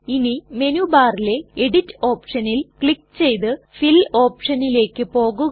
ഇനി മെനു ബാറിലെ എഡിറ്റ് ഓപ്ഷനിൽ ക്ലിക് ചെയ്ത് ഫിൽ ഓപ്ഷനിലേക്ക് പോകുക